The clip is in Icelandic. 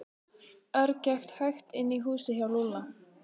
Örn gekk hægt inn í húsið hjá Lúlla.